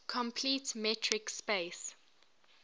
complete metric space